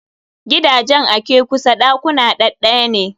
Gidajen a ke kusa ɗakuna ɗaɗɗaya ne.